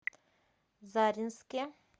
заринске